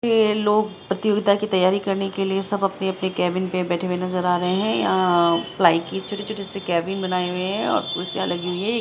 ये लोग प्रतियोगिता की तैयारी करने के लिए सब अपने-अपने केबिन पे बैठे हुए नजर आ रहे हैं यहां पलाय की छोटी-छोटी सी केबिन बनाए हुए हैं और कुर्सियां लगी हुई है।